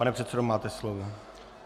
Pane předsedo, máte slovo.